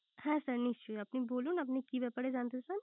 হ্যাঁ sir নিশ্চই। আপনি বলুন আপনি কি ব্যাপারে জানতে চান